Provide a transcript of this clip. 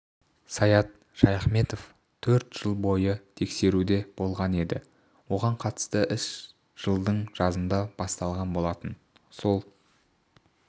саят шаяхметов төрт жыл бойы тергеуде болған еді оған қатысты іс жылдың жазында басталған болатын сол